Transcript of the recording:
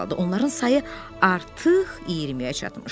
Onların sayı artıq 20-yə çatmışdı.